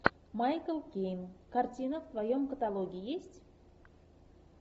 майкл кейн картина в твоем каталоге есть